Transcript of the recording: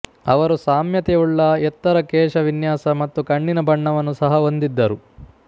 ಅವರು ಸಾಮ್ಯತೆಯುಳ್ಳ ಎತ್ತರ ಕೇಶವಿನ್ಯಾಸ ಮತ್ತು ಕಣ್ಣಿನ ಬಣ್ಣವನ್ನು ಸಹ ಹೊಂದಿದ್ದರು